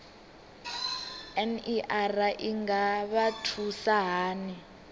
ner i nga vha thusa hani